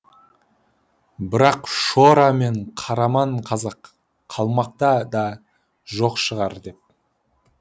бірақ шора мен қараман қазақ қалмақта да жоқ шығар деп